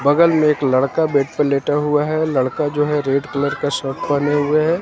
बगल में एक लड़का बेड पे लेटा हुआ है लड़का जो है रेड कलर का शर्ट पहने हुए है।